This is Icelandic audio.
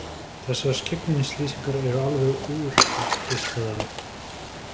Þessar skyggnilýsingar eru alveg úreltar, geispaði hann.